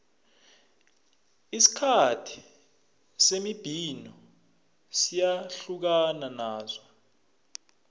isikhathi semibhino siyahlukana naso